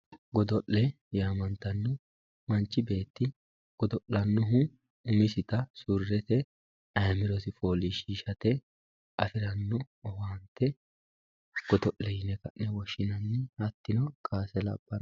Godo'le yaamantanno, manchi beetti godo'lanohu umisitta surete ayyimirosi foolishishate afirano owaante godo'le yaamantanno hatino kaase labanno